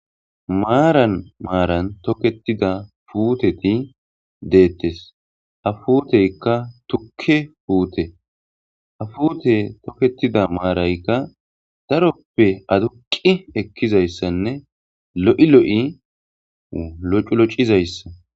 Marani marni toketida puteti detes ha puteyikka tukke pute ha puteyi toketida marayikka daroppe aduqi ekidayisane loyi loyi loculocidayissa